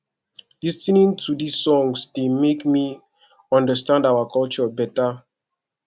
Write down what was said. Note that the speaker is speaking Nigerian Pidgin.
lis ten ing to these songs dey make me understand our culture beta